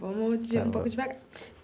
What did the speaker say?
Vamos de um pouco devagar.